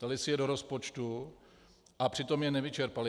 Dali si je do rozpočtu, a přitom je nevyčerpali.